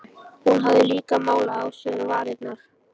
Hún hafði líka málað á sér varirnar.